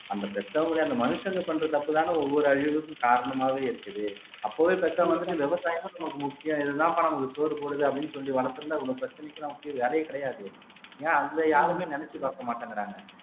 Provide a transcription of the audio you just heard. அந்த பெத்தவங்களே அந்த மனுஷங்க பண்ற தப்புதானே ஒவ்வொரு அழிவுக்கும் காரணமாவே இருக்குது அப்பவே பெத்தவங்க வந்துட்டு விவசாயம்தான் நமக்கு முக்கியம் இதுதான்ப்பா நம்மளுக்கு சோறு போடுது அப்படின்னு சொல்லி வளர்த்திருந்தா இவ்ளோ பிரச்சனைக்கெல்லாம் முக்கிய வேலையே கிடையாது ஏன் அந்த யாருமே நினைச்சு பார்க்க மாட்டேங்கிறாங்க